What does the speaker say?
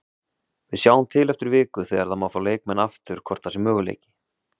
Við sjáum til eftir viku þegar það má fá leikmenn aftur hvort það sé möguleiki.